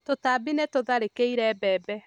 Tũtambi nĩ tũtharĩkĩire mbembe.